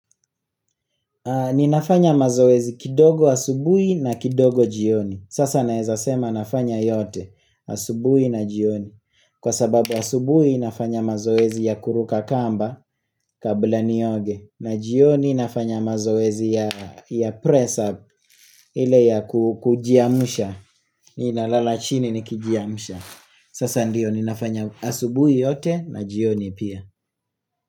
Ninafanya mazoezi kidogo asubuhi na kidogo jioni. Sasa nawezasema nafanya yote asubuhi na jioni. Kwa sababu asubuhi nafanya mazoezi ya kuruka kamba kabla nioge. Na jioni nafanya mazoezi ya press up ile ya kujiamsha. Nina lala chini nikijiamsha. Sasa ndiyo ninafanya asubuhi yote na jioni pia.